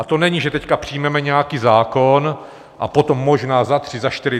A to není, že teď přijmeme nějaký zákon a potom možná za tři, za čtyři...